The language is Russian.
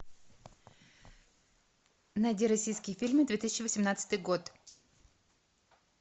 найди российские фильмы две тысячи восемнадцатый год